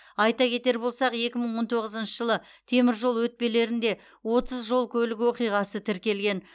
айта кетер болсақ екі мың он тоғызыншы жылы теміржол өтпелерінде отыз жол көлік оқиғаы тіркелген